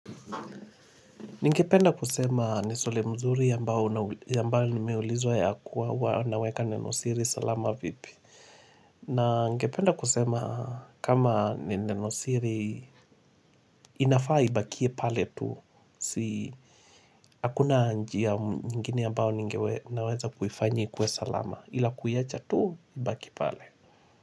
Ningependa kusema ni swali mzuri ambao limeulizwa ya kuwa huwa naweka nenosiri salama vipi. Na ningependa kusema kama nenosiri inafaa ibakie pale tu. Si akuna njia nyingine ambao ninaweza kuifanyi ikue salama ila kuiacha tu ibakie pale.